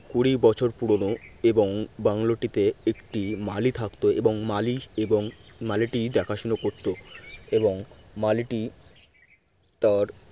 কুড়ি বছর পুরনো এবং এবং বাংলোটিতে একটি মালি থাকত এবং মালি এবং মালিটি দেখাশোনা করতো এবং মালিটি তার